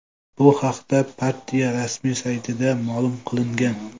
Bu haqda partiya rasmiy saytida ma’lum qilingan .